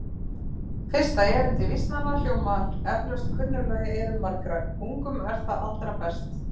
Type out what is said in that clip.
Fyrsta erindi vísnanna hljómar eflaust kunnuglega í eyrum margra: Ungum er það allra best